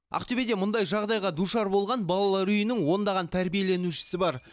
ақтөбеде мұндай жағдайға душар болған балалар үйінің ондаған тәрбиеленушісі бар